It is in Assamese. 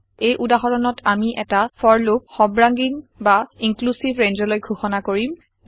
এই উদাহৰণত আমি এটা ফৰ লুপ সৰ্বাঙ্গীন বা ইন্ক্লিউচিভ ৰেঞ্জলৈ ঘোষণা কৰিম